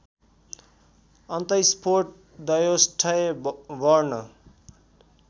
अन्तस्फोट द्वयोष्ठ्य वर्ण